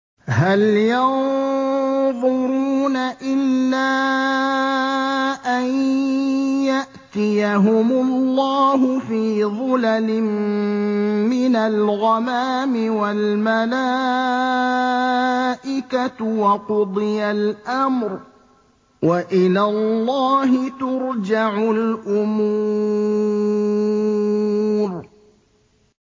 هَلْ يَنظُرُونَ إِلَّا أَن يَأْتِيَهُمُ اللَّهُ فِي ظُلَلٍ مِّنَ الْغَمَامِ وَالْمَلَائِكَةُ وَقُضِيَ الْأَمْرُ ۚ وَإِلَى اللَّهِ تُرْجَعُ الْأُمُورُ